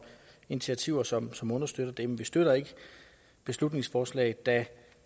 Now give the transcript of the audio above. initiativer som som understøtter det men vi støtter ikke beslutningsforslaget da